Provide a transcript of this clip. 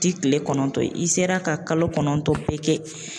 Ti kile kɔnɔntɔn i sera ka kalo kɔnɔntɔn bɛɛ kɛ